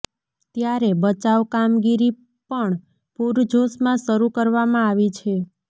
ત્યારે બચાવ કામગીરી પણ પૂર જોશમાં શરૂ કરવામાં આવી છે